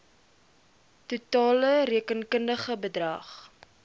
totale rekenkundige bedrag